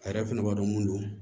A yɛrɛ fɛnɛ b'a dɔn mun do